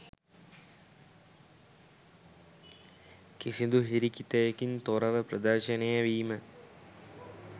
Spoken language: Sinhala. කිසිදු හිරිකිතයකින් තොරව ප්‍රදර්ශනය වීම